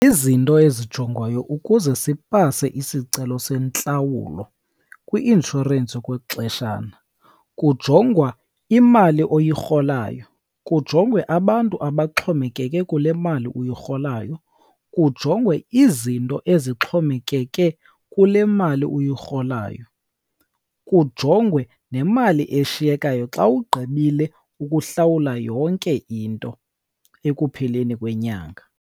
Izinto ezijongwayo ukuze sipase isicelo sentlawulo kwi-inshorensi okwexeshana, kujongwa imali oyirholayo, kujongwe abantu abaxhomekeke kule mali uyirholayo, kujongwe izinto ezixhomekeke kule mali uyirholayo, kujongwe nemali eshiyekayo xa ugqibile ukuhlawula yonke into ekupheleni kwenyanga.